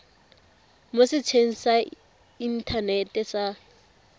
mo setsheng sa inthanete sa